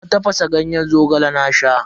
Na tafasa ganyen Zogale na sha.